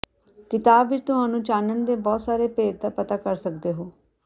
ਿਕਤਾਬ ਵਿੱਚ ਤੁਹਾਨੂੰ ਚਾਨਣ ਦੇ ਬਹੁਤ ਸਾਰੇ ਭੇਤ ਦਾ ਪਤਾ ਕਰ ਸਕਦੇ ਹੋ